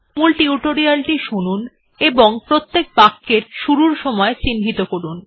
মূল টিউটোরিয়াল টি শুনুন এবং প্রত্যেক বাক্যের শুরুর সময় চিন্হিত করুন